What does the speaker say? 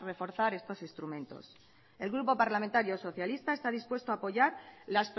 reforzar estos instrumentos el grupo parlamentario socialista está dispuesto a apoyar las